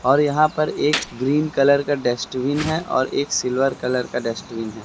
और यहां पर एक ग्रीन कलर का डस्टबिन है और एक सिल्वर कलर का डस्टबिन है।